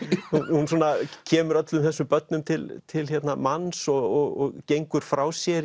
hún svona kemur öllum þessum börnum til til manns og gengur frá sér